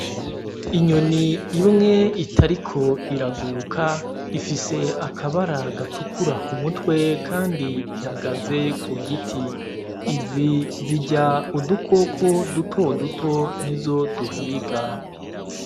Inyoni imwe itariko iraguruka ifise akabara gatukura ku mutwe kandi ihagaze ku giti . Izi zirya udukoko dutoduto nizo duhiga.